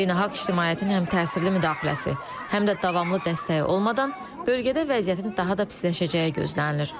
Beynəlxalq ictimaiyyətin həm təsirli müdaxiləsi, həm də davamlı dəstəyi olmadan bölgədə vəziyyətin daha da pisləşəcəyi gözlənilir.